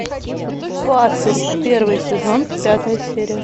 пастырь первый сезон пятая серия